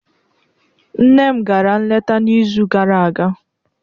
Nne m gara nleta n'izu gara aga.